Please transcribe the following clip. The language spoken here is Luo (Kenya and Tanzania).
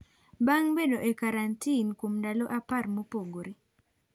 Bang' bedo e karantin kuom ndalo apar mopogore.